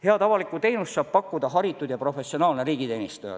Head avalikku teenust saab pakkuda haritud ja professionaalne riigiteenistuja.